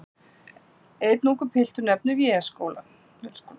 Einn ungur piltur nefnir Vélskólann.